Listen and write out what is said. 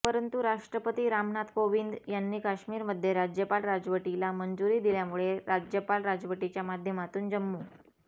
परंतु राष्ट्रपती रामनाथ कोविंद यांनी कश्मीरमध्ये राज्यपाल राजवटीला मंजूरी दिल्यामुळे राज्यपाल राजवटीच्या माध्यमातून जम्मू